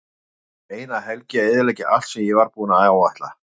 Það tók eina helgi að eyðileggja allt sem ég var búinn að áætla.